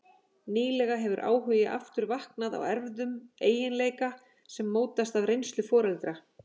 Nýlega hefur áhugi aftur vaknað á erfðum eiginleika sem mótast af reynslu foreldra.